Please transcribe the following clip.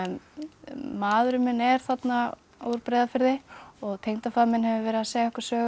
maðurinn minn er þarna úr Breiðafirði og tengdafaðir minn hefur verið að segja okkur sögur